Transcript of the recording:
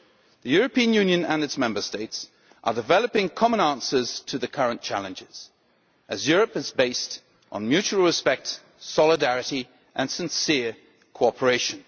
The European Union and its Member States are developing common answers to the current challenges, as Europe is based on mutual respect, solidarity and sincere cooperation.